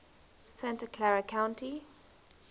santa clara county